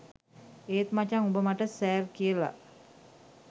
ඒත් මචං උඹ මට සෑර් කියලා